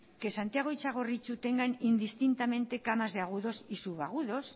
que santiago y txagorritxu tengan indistintamente camas de agudos y subagudos